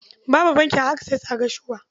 Babu bankin Akses a Gashua.